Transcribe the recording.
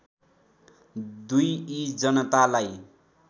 २ यी जनतालाई